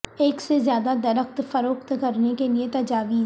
ایک سے زیادہ درخت فروخت کرنے کے لئے تجاویز